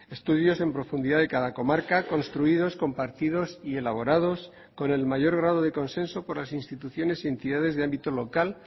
estudios en profundidad de cada comarca construidos compartidos y elaborados con el mayor grado de consenso por las instituciones y entidades de ámbito local